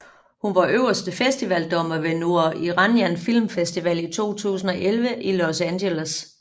Hun var øverste festivaldommer ved Noor Iranian Film Festival i 2011 i Los Angeles